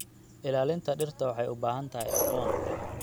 Ilaalinta dhirta waxay u baahan tahay aqoon.